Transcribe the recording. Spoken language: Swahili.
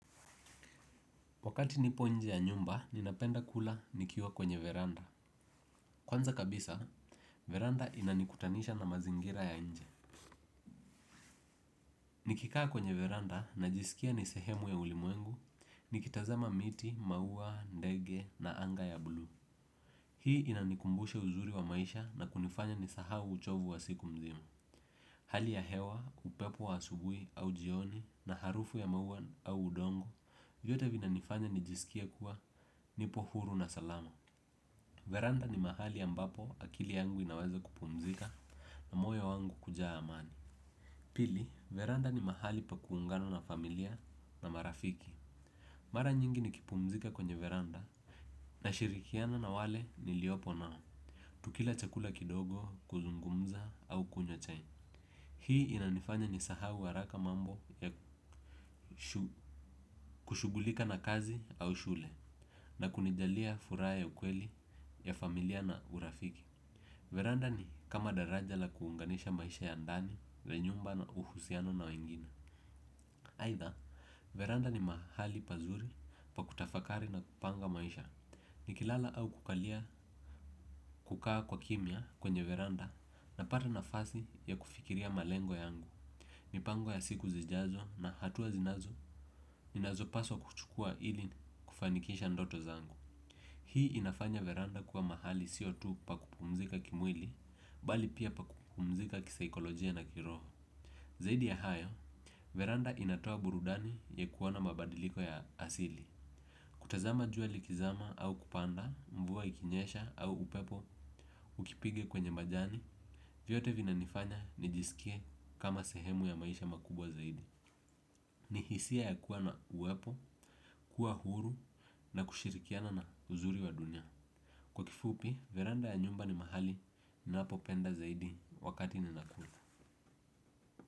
Wakati nipo nje ya nyumba, ninapenda kula nikiwa kwenye veranda. Kwanza kabisa, veranda inanikutanisha na mazingira ya nje. Nikikaa kwenye veranda najisikia ni sehemu ya ulimwengu nikitazama miti, ndege, na anga ya bluu. Hii inanikumbushe uzuri wa maisha na kunifanya nisahau uchovu wa siku mzima. Hali ya hewa, upepo wa asubuhi au jioni na harufu ya maua au udongo, vyote vinanifanya nijisikie kuwa nipo huru na salama. Veranda ni mahali ambapo akili yangu inaweza kupumzika na moyo wangu kujaa amani. Pili, veranda ni mahali pa kuungana na familia na marafiki. Mara nyingi nikipumzika kwenye veranda nashirikiana na wale niliopo nao. Kukila chakula kidogo kuzungumza au kunywa chai. Hii inanifanya nisahau haraka mambo ya kushughulika na kazi au shule na kunijalia furaha ya ukweli ya familia na urafiki. Veranda ni kama daraja la kuunganisha maisha ya ndani, ya nyumba na uhusiano na wengine. Aitha, veranda ni mahali pazuri pa kutafakari na kupanga maisha. Nikilala au kukalia kukaa kwa kimya kwenye veranda napata nafasi ya kufikiria malengo yangu. Mipango ya siku zijazo na hatua zinazo ninazopaswa kuchukua ili kufanikisha ndoto zangu. Hii inafanya veranda kuwa mahali sio tu pa kupumzika kimwili, bali pia pa kupumzika kisaikolojia na kiroho. Zaidi ya hayo, veranda inatoa burudani ya kuona mabadiliko ya asili. Kutazama jua likizama au kupanda, mvua ikinyesha au upepo, ukipiga kwenye majani vyote vinanifanya nijisikie kama sehemu ya makubwa zaidi. Ni hisia ya kuwa na uwepo, kuwa huru na kushirikiana na uzuri wa dunia. Kwa kifupi, veranda ya nyumba ni mahali ninahapopenda zaidi wakati ninakula.